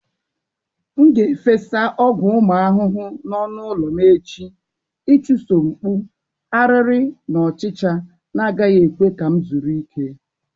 M ga-efesa ọgwụ ụmụ ahụhụ n'ọnụ ụlọ m echi ịchụso mkpụ, ariri na ọchịcha na-agaghị ekwe ka m zuru ike.